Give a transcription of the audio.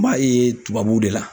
N b'a ye tubabuw de la.